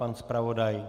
Pan zpravodaj?